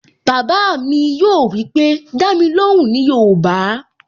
Bàbá mi yóò wípé, "Dá mi lóhùn ní yoòbá"